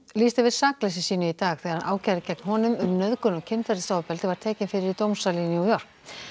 lýsti yfir sakleysi sínu í dag þegar ákæra gegn honum um nauðgun og kynferðisofbeldi var tekin fyrir dómsal í New York